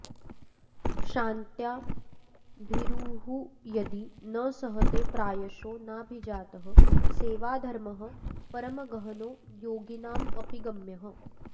क्षान्त्या भीरुर्यदि न सहते प्रायशो नाभिजातः सेवाधर्मः परमगहनो योगिनामप्यगम्यः